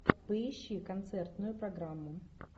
поищи концертную программу